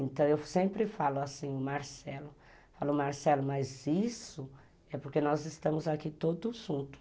Então eu sempre falo assim, Marcelo, mas isso é porque nós estamos aqui todos juntos.